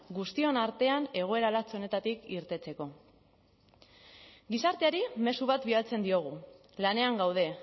guztion artean egoera latz honetatik irteteko gizarteari mezu bat bidaltzen diogu lanean gaude